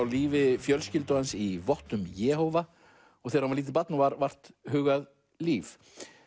lífi fjölskyldu hans í vottum Jehóva og þegar hann var lítið barn og var vart hugað líf